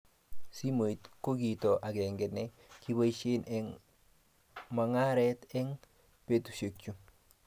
Simoit ko kito akenge ne kiboisie eng mong'aree eng betushe chu.